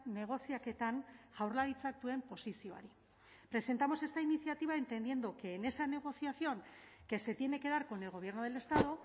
negoziaketan jaurlaritzak duen posizioari presentamos esta iniciativa entendiendo que en esa negociación que se tiene que dar con el gobierno del estado